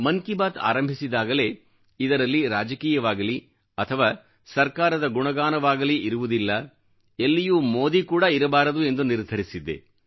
ಮನ್ ಕಿ ಬಾತ್ ಆರಂಭಿಸಿದಾಗಲೇ ಇದರಲ್ಲಿ ರಾಜಕೀಯವಾಗಲಿ ಅಥವಾ ಸರ್ಕಾರದ ಗುಣಗಾನವಾಗಲಿ ಇರುವುದಿಲ್ಲ ಎಲ್ಲಿಯೂ ಮೋದಿ ಕೂಡಾ ಇರಬಾರದು ಎಂದು ನಿರ್ಧರಿಸಿದ್ದೆ